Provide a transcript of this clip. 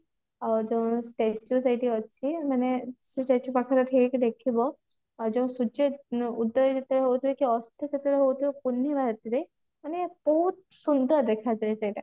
ଆଉ ଯୋଉ statue ସେଇଠି ଅଛି ମାନେ ସେ statue ପାଖରେ ଠିଆ ହେଇକି ଦେଖିବ ଯୋଉ ସୂର୍ଯ୍ୟ ଉଦୟ ଯେତେବେଳେ ହଉଥିବ ଅସ୍ତ ଯେତେବେଳେ ହଉଥିବ ପୁର୍ଣିମା ରାତିରେ ମାନେ ବହୁତ ସୁନ୍ଦର ଦେଖା ଯାଏ ସେଟା